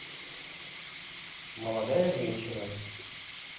молодая женщина